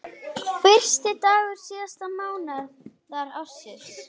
Fyrsti dagur síðasta mánaðar ársins.